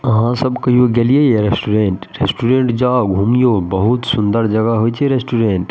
अहाँ सब कहियो गेलिए ये रेस्टोरेंट रेस्टोरेंट जोअ घूमियो बहुत सुन्दर जगह होय छै रेस्टोरेंट ।